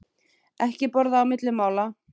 Ekki borða á milli mála.